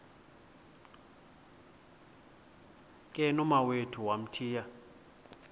ke nomawethu wamthiya